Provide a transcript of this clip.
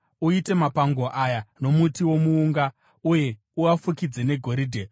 Uite mapango aya nomuti womuunga uye uafukidze negoridhe.